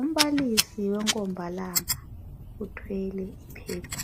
umbalisi wenkombalanga uthwele iphepha.